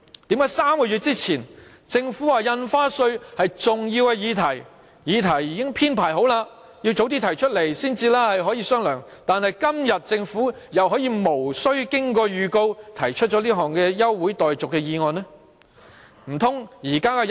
為何3個月前政府說印花稅是重要議題，議程已經編排好了，調動議程的要求要早點提出來才可以商量，但今天政府又可以無經預告提出這項休會待續議案？